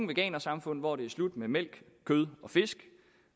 veganersamfund hvor det er slut med mælk kød og fisk